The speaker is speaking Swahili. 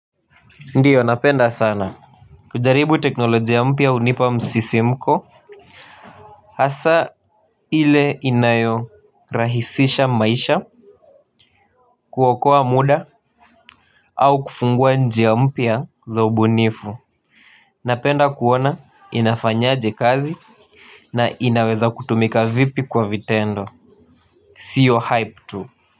Ndiyo napenda sana, kujaribu teknolojia mpya hunipa msisimko hasa ile inayorahisisha maisha, kuokoa muda au kufungua njia mpya za ubunifu napenda kuona inafanyaje kazi na inaweza kutumika vipi kwa vitendo sio hype tu.